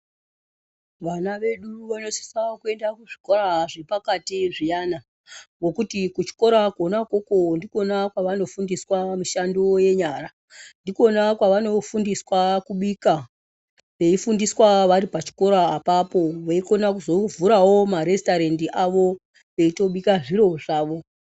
Vana vedu vanosisa kuenda kuzvikora zviripakati zviyana ngokuti kuchikora kona ukoko ndikona kwavanofundiswa mishando yenyara , ndikona kwavano fundiswa kubika veifundiswa varipa chikora apapo veikona kuzovhurawo maRestarendi avo veitobika zviro zvavo